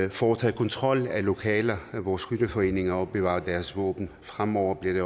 og foretage kontrol af lokaler hvor skytteforeninger opbevarer deres våben fremover bliver det